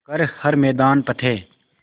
कर हर मैदान फ़तेह